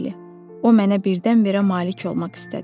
Bəli, o mənə birdən-birə malik olmaq istədi.